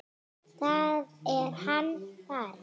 Þá er hann farinn.